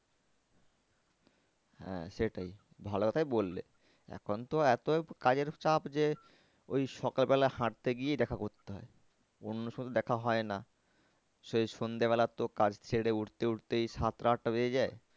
হ্যাঁ সেটাই ভালো কথাই বললে এখন তো এত কাজের চাপ যে ওই সকাল বেলা হাঁটতে গিয়েই দেখা করতে হয় অন্য সময় তো দেখা হয় না। সেই সন্ধ্যা বেলা তো কাজ সেরে উঠতে উঠতেই সাতটা আটটা বেজে যায়।